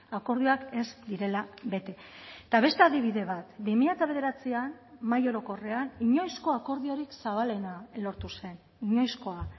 akordioak ez direla bete eta beste adibide bat bi mila bederatzian mahai orokorrean inoizko akordiorik zabalena lortu zen inoizkoa